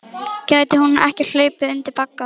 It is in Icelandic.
Gæti hún ekki hlaupið undir bagga?